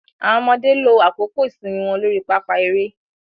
Awọn ọmọde lo àkókò ìsinmi wọn lórí pápá eré